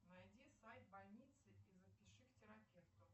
найди сайт больницы и запиши к терапевту